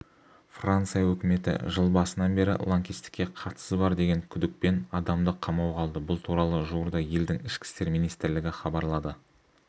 франция өкіметі жыл басынан бері лаңкестікке қатысы бар деген күдікпен адамды қамауға алды бұл туралы жуырда елдің ішкі істер министрлігі хабарлады